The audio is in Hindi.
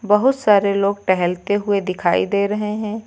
बहुत सारे लोग टहलते हुए दिखाई दे रहे हैं।